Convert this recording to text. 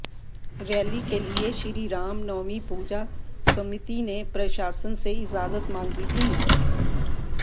rally के लिए श्री राम नवमी पूजा समिति ने प्रशासन से इजाजत मांगी थी